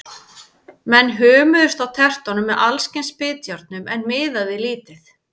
Menn hömuðust á tertunum með alls kyns bitjárnum, en miðaði lítið.